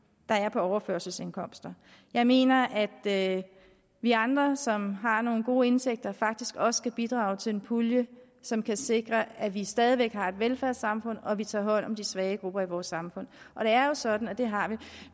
der er på overførselsindkomster jeg mener at vi andre som har nogle gode indtægter faktisk også skal bidrage til en pulje som kan sikre at vi stadig har et velfærdssamfund og at vi tager hånd om de svage grupper i vores samfund og det er jo sådan at dem har